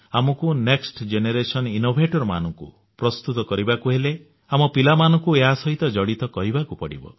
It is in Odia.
ଆମକୁ ନେକ୍ସଟ ଜେନେରେସନ ଇନୋଭେସନ ମାନଙ୍କୁ ପ୍ରସ୍ତୁତ କରିବାକୁ ହେଲେ ଆମ ପିଲାମାନଙ୍କୁ ଏହା ସହିତ ଜଡିତ କରିବାକୁ ପଡିବ